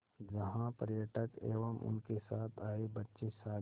जहाँ पर्यटक एवं उनके साथ आए बच्चे सागर